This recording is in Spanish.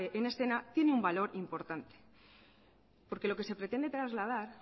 en escena tiene un valor importante porque lo que se pretende trasladar